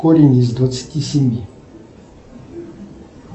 корень из двадцати семи